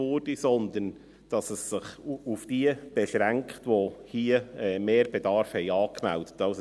Vielmehr beschränkt sie sich auf diejenigen, die Mehrbedarf angemeldet haben.